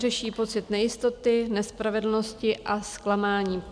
Řeší pocit nejistoty, nespravedlnosti a zklamání.